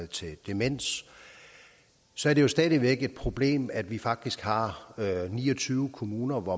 til demens så er det stadig væk et problem at vi faktisk har ni og tyve kommuner hvor